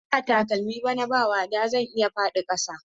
Idan na sa takalmi bana ba wada zan iya faɗi kasa.